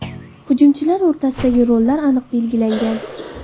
Hujumchilar o‘rtasidagi rollar aniq belgilangan.